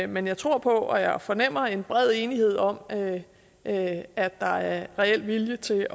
men jeg tror på og jeg fornemmer en bred enighed om at at der er reel vilje til